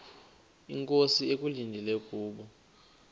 inkosi ekulindele kubo